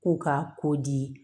K'u ka ko di